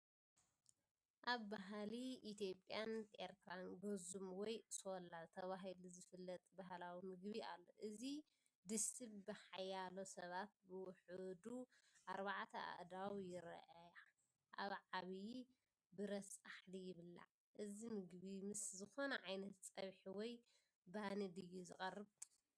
ኣብ ባህሊ ኢትዮጵያን ኤርትራን፡ "ገዙም" ወይ "ሶላ" ተባሂሉ ዝፍለጥ ባህላዊ ምግቢ ኣሎ። እዚ ድስቲ ብሓያሎ ሰባት (ብውሑዱ ኣርባዕተ ኣእዳው ይርኣያ) ኣብ ዓቢ ብረት ጻሕሊ ይብላዕ። እዚ ምግቢ ምስ ዝኾነ ዓይነት ፀብሒ ወይ ባኒ ድዩ ዝቐርብ?